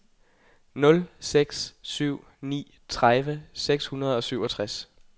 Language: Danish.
nul seks syv ni tredive seks hundrede og syvogtres